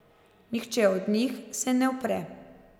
Nihče od njih se ne upre.